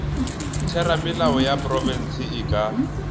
theramelao ya profense e ka